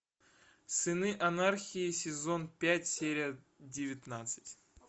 сыны анархии сезон пять серия девятнадцать